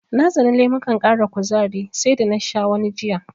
Na tsani lemukan ƙara kuzari sai da na sha wani jiya.